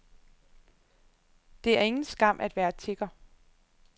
Det er ingen skam at være tigger.